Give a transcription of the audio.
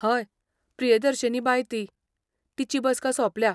हय, प्रियदर्शिनी बाय ती, तिची बसका सोंपल्या.